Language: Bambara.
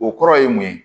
O kɔrɔ ye mun ye